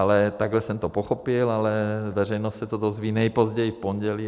Ale takhle jsem to pochopil, ale veřejnost se to dozví nejpozději v pondělí.